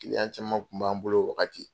caman tun b'an bolo o wagati.